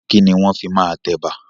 Kìíní wọn fii máa tẹ Ẹ̀bà?